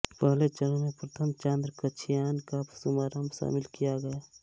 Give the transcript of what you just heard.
पहले चरण में प्रथम चांद्र कक्षीयान का शुभारम्भ शामिल किया गया